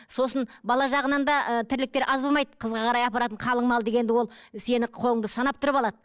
сосын бала жағынан да ыыы тірліктер аз болмайды қызға қарай апаратын қалың мал дегенді ол сенің қолыңды санап тұрып алады